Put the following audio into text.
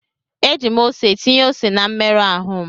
Eji m ose tinye ose na mmerụ ahụ m.